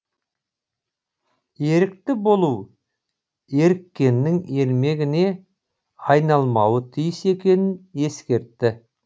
ерікті болу еріккеннің ермегіне айналмауы тиіс екенін ескертті